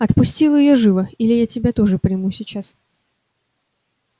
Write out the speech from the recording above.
отпустил её живо или я тебя тоже приму сейчас